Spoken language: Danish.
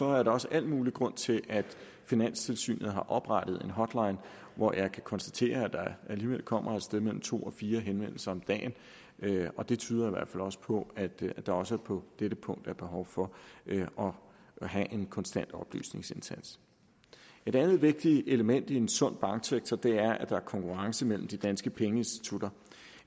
er der også al mulig grund til at finanstilsynet har oprettet en hotline hvor jeg kan konstatere der alligevel kommer et sted mellem to og fire henvendelser om dagen og det tyder i hvert fald også på at der også på dette punkt er behov for at have en konstant oplysningsindsats et andet vigtigt element i en sund banksektor er at der er konkurrence mellem de danske pengeinstitutter